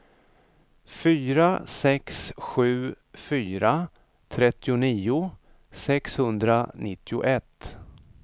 fyra sex sju fyra trettionio sexhundranittioett